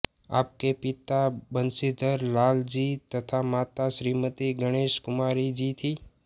आपके पिता बंशीधर लाल जी तथा माता श्रीमती गणेशकुमारी जी थी